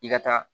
I ka taa